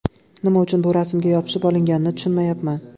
Nima uchun bu rasmga yopishib olinganini tushunmayapman.